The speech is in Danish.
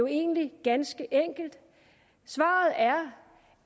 egentlig ganske enkelt svaret er